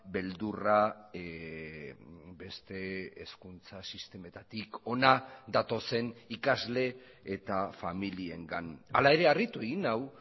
beldurra beste hezkuntza sistemetatik hona datozen ikasle eta familiengan hala ere harritu egin nau